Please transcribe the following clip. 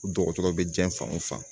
Dɔgɔtɔrɔ bɛ diɲɛ fan o fan